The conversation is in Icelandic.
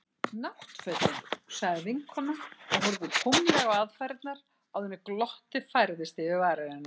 Náttfötin. sagði vinkonan og horfði tómlega á aðfarirnar áður en glottið færðist yfir varir hennar.